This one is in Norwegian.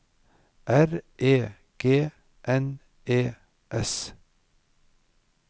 R E G N E S